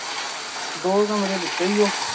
ਦੋ ਕਮਰੇ ਦਿੱਤੇ ਓ।